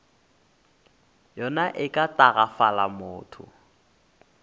yona e ka tagafala motho